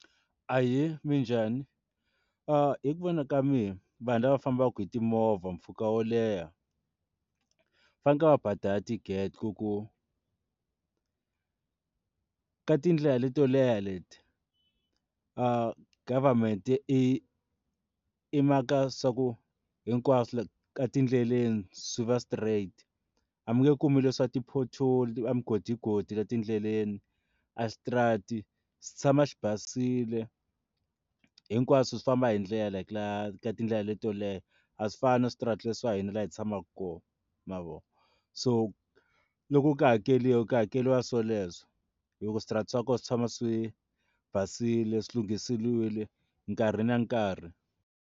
Ahee, minjhani? hi ku vona ka mina vanhu lava fambaka hi timovha mpfhuka wo leha faneke va badala tigede ku ku tindlela leto leha leti government i i maka swa ku hinkwaswo etindleleni swi va straight a mi nge kumi leswa ti porthole na swigodigodi etindleleni aswitarata xi tshama xi basile hinkwaswo swi famba hi ndlela ka ka tindlela leto leha a swi fani na switarata swa hina laha hi tshamaka kona ma vona so loku ka hakeliwa ku hakeriwa swo leswo hi ku switarata swa kona swi tshama swi basile swi lunghisile nkarhi na nkarhi.